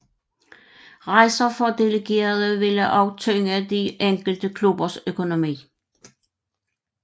Rejser for delegerede ville også tynge de enkelte klubbers økonomi